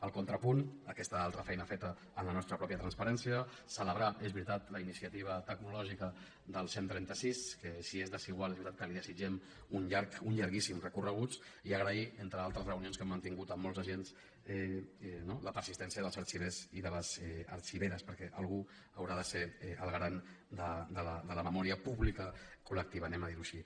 el contrapunt aquesta altra feina feta amb la nostra pròpia transparència celebrar és veritat la iniciativa tecnològica del cent i trenta sis que si és desigual és veritat que li desitgem un llarg un llarguíssim recorregut i agrair entre altres reunions que hem mantingut amb molts agents no la persistència dels arxivers i de les arxiveres perquè algú haurà de ser el garant de la memòria pública col·lectiva ho diem així